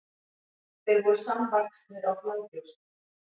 þeir voru samvaxnir á flagbrjóski